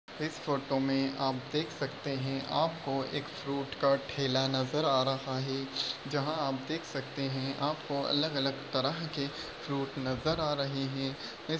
इस फोटो मे आप देख सकते है आपको एक फ्रूट का ठेला नजर आ रहा है जहा आप देख सकते है आपको अलग अलग तरह के फ्रूट नजर आ रहे है।